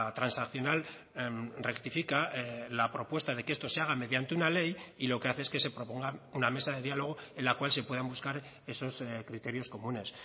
transaccional rectifica la propuesta de que esto se haga mediante una ley y lo que hace es que se propongan una mesa de diálogo en la cual se puedan buscar esos criterios comunes